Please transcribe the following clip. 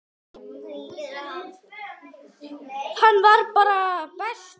Hann var bara bestur.